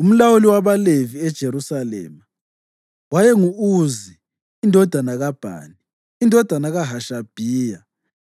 Umlawuli wabaLevi eJerusalema waye ngu-Uzi indodana kaBhani, indodana kaHashabhiya,